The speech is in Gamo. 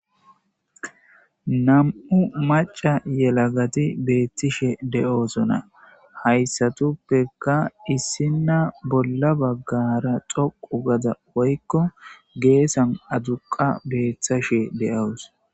nam7u maca yelagati beethtishe de7osona hayssatuppeka issinna bolla baggara doqu gada woykko geessan aduqa beeththashe de7awus